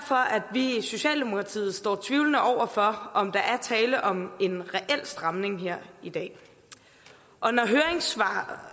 vi i socialdemokratiet står tvivlende over for om der er tale om en reel stramning her i dag og når høringssvar